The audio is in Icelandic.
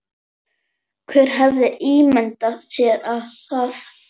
Hver hefði ímyndað sér það?